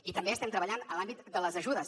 i també estem treballant en l’àmbit de les ajudes